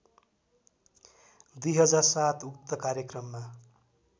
२००७ उक्त कार्यक्रममा